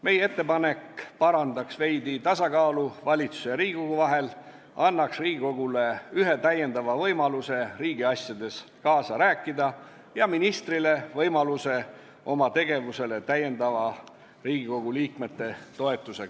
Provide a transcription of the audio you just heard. Meie ettepanek parandaks veidi tasakaalu valitsuse ja Riigikogu vahel, see annaks Riigikogu liikmetele ühe lisavõimaluse riigiasjades kaasa rääkida ja ministrile rohkem võimalusi kaasata oma tegevusse Riigikogu liikmete toetust.